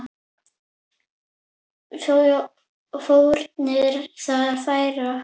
Hvaða fórnir þarf að færa?